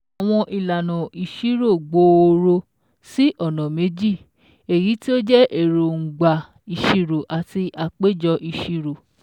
Àwọn ìlànà ìṣirò gbòòrò sí ọ̀nà meji, èyí tí ó jẹ́ Èróńgbà ìṣirò àti Àpéjọ Ìṣirò